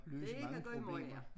Løse mange problemer